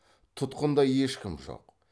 тұтқында ешкім жоқ